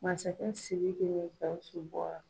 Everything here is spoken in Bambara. Masakɛ Siriki le ka n se bɔra.